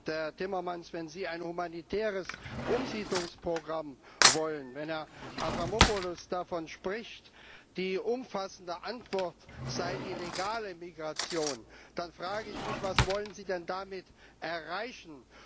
Herr Timmermans, wenn Sie ein humanitäres Umsiedlungsprogramm wollen, wenn Herr Avramopoulos davon spricht, die umfassende Antwort sei die legale Migration, dann frage ich mich, was wollen Sie denn damit erreichen?